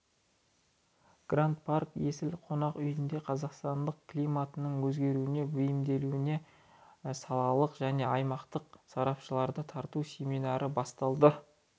гранд парк есіл қонақ үйінде қазақстанда климаттың өзгеруіне бейімделуіне салалық және аймақтық сарапшыларды тарту семинары басталады